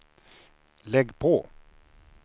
lägg på